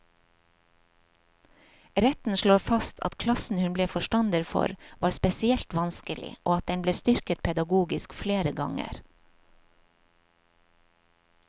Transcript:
Retten slår fast at klassen hun ble forstander for, var spesielt vanskelig, og at den ble styrket pedagogisk flere ganger.